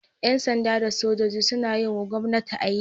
Yan sanda da sojoji suna yiwa gwomnati aiki